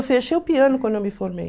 fechei o piano quando eu me formei.